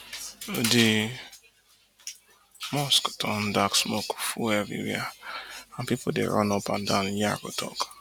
di mosque turn dark smoke full evriwia and pipu dey run up and down tok